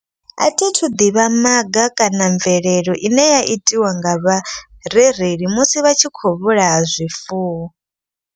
A thithu ḓivha maga kana mvelelo ine ya itiwa nga vharereli musi vha tshi kho vhulaya zwifuwo.